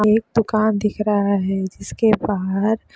एक दुकान दिख रहा है जिस के बाहार--